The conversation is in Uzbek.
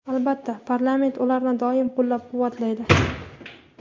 albatta parlament ularni doim qo‘llab-quvvatlaydi.